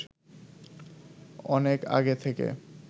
অনেক আগে থেকে